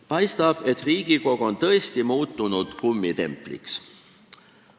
Paistab, et Riigikogu on tõesti muutunud kummitempliks.